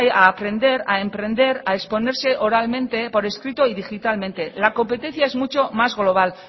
pensar a aprender a emprender a exponerse oralmente por escrito y digitalmente la competencia es mucho más global